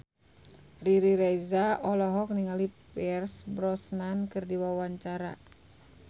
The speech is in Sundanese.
Riri Reza olohok ningali Pierce Brosnan keur diwawancara